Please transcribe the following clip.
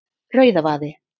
Rauðavaði